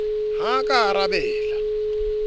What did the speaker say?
ha a ka a arabela